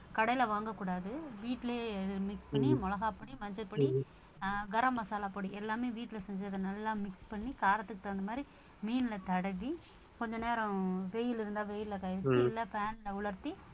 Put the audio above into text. கடையில வாங்கக் கூடாது வீட்டிலேயே mix பண்ணி மிளகாய்ப் பொடி, மஞ்சள் பொடி, கரம் மசாலா பொடி, எல்லாமே வீட்ல செஞ்சு அதை நல்லா mix பண்ணி காரத்துக்கு தகுந்த மாதிரி மீன்ல தடவி கொஞ்ச நேரம் வெயில் இருந்தா வெயில்ல இல்ல fan ல உலர்த்தி